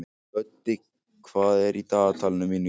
Böddi, hvað er í dagatalinu mínu í dag?